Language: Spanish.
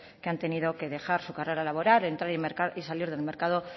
que han tenido que dejar su carrera laboral entrar y salir del mercado